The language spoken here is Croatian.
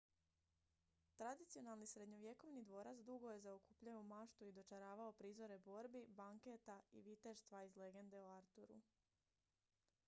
tradicionalni srednjovjekovni dvorac dugo je zaokupljao maštu i dočaravao prizore borbi banketa i viteštva iz legende o arturu